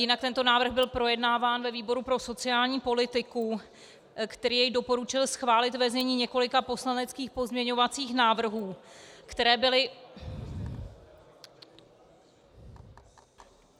Jinak tento návrh byl projednáván ve výboru pro sociální politiku, který jej doporučil schválit ve znění několika poslaneckých pozměňovacích návrhů, které byly...